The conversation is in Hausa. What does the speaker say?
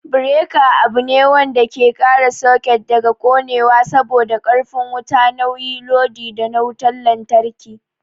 Bereka abune wanda ke kare saket daga konewa saboda karfi wuta nauyi lodi na wutan lantraki